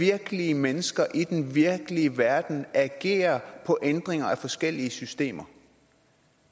virkelige mennesker i den virkelige verden agerer på ændringer af forskellige systemer